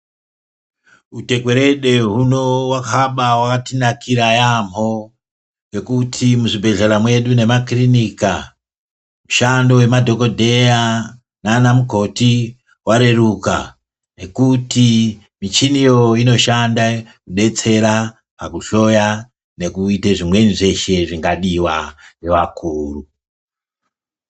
Utekwerede huno hwakabaawatinakira yaambho ngekuti muzvibhedhlera zvedu nemakirinika mushando wemadhokodheya nana mukoti wareruka ngekuti michiniyo inoshande kudetsera, pakuhloya nekuite zvimweni zvese zvingadiwa ngevakuru.